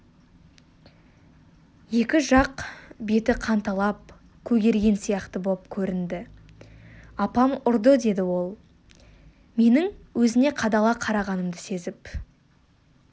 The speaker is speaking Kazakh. екі жақ беті қанталап көгерген сияқты боп көрінді апам ұрды деді ол менің өзіне қадала қарағанымды сезіп